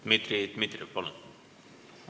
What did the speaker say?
Dmitri Dmitrijev, palun!